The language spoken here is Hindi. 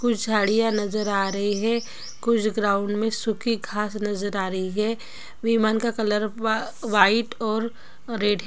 कुछ झाड़ियां नजर आ रही है कुछ ग्राउंड में सूखी घास नजर आ रही है। विमान का कलर वा व्हाइट और रेड --